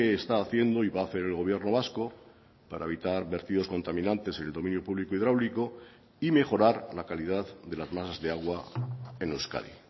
está haciendo y va a hacer el gobierno vasco para evitar vertidos contaminantes en el dominio público hidráulico y mejorar la calidad de las masas de agua en euskadi